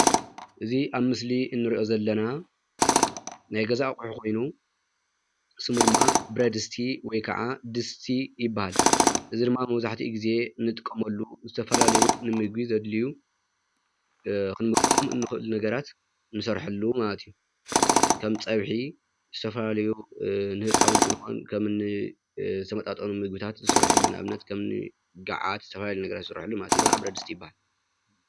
እዚ ምስሊ ብረድስቲ ዝበሃል ኮይኑ ንፀብሒ መስርሒ ንጥቀመሉ ዓቀሓ ገዛ እዩ።